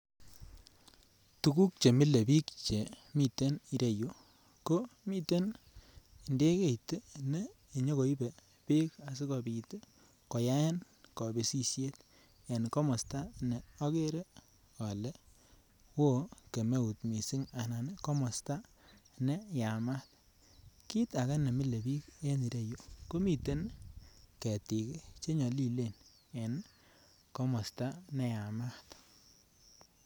Tuguk chemile biik chemiten ireyu ko miten ndegeit ne nyokoibe beek asikobit koyaen kobisisiet en komosta ne okere ole woo kemeut missing anan komosta ne yamat. Kit age nemile biik en ireyu ko miten ketik ih chenyolilen en komosta neyamat